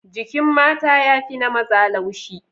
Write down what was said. Jikin mata ya fi na maza laushi.